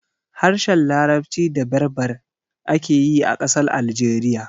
Harshen larabci da berber ake yi a ƙasar Algeriya